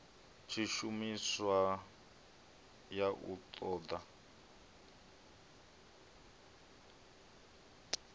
tshishumiswa ya u ṱo ḓa